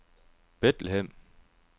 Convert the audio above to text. Bethlehem